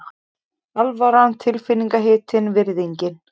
Alvaran tilfinningahitinn, virðingin.